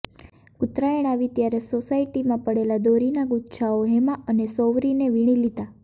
ઉત્તરાયણ આવી ત્યારે સોસાયટીમાં પડેલાં દોરીનાં ગુચ્છાઓ હેમા અને સૌરિને વીણી લીધાં